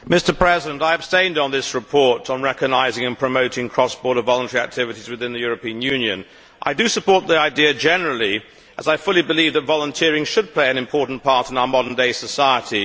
Mr President, I abstained on this report on recognising and promoting cross border voluntary activities within the European Union. I do support the idea generally, as I fully believe that volunteering should play an important part in our modern day society.